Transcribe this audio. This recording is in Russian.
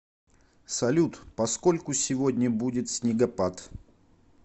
салют поскольку сегодня будет снегопад